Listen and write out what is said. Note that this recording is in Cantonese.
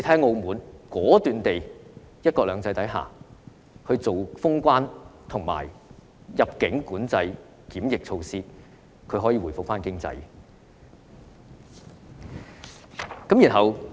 澳門在"一國兩制"下，果斷封關，實施入境管制檢疫措施，其經濟便可以回復。